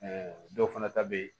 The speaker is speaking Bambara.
dɔw fana ta bɛ yen